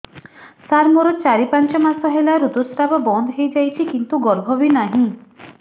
ସାର ମୋର ଚାରି ପାଞ୍ଚ ମାସ ହେଲା ଋତୁସ୍ରାବ ବନ୍ଦ ହେଇଯାଇଛି କିନ୍ତୁ ଗର୍ଭ ବି ନାହିଁ